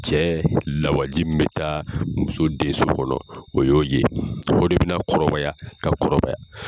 Cɛ lawaji min bɛ taa muso denso kɔnɔ o y'o ye o de bɛ na kɔrɔbaya ka kɔrɔɔbaya.